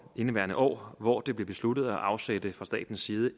indeværende år hvor det blev besluttet at afsætte fra statens side